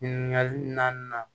Ɲininkali naaninan